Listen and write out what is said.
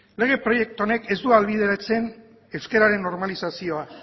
lege proiektu honek ez du ahalbideratzen euskararen normalizazioa